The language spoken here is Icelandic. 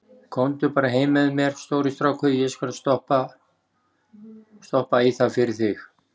Komdu bara heim með mér, stóri strákur, ég skal stoppa í það fyrir þig.